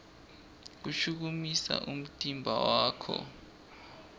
shukumisa umtimba wakho